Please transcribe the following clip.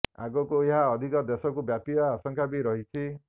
ଆଗକୁ ଏହା ଅଧିକ ଦେଶକୁ ବ୍ୟାପିବା ଆଶଙ୍କା ବି ରହିଛି